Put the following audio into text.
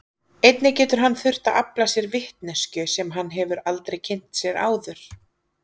Einnig getur hann þurft að afla sér vitneskju sem hann hefur aldrei kynnt sér áður.